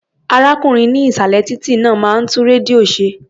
Arákùnrin ní ìsàlẹ̀ títí náà máa ń tún rédíò ṣe.